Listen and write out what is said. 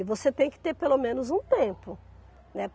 E você tem que ter pelo menos um tempo, né?